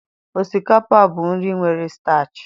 Osikapa bụ nri nwere staachị.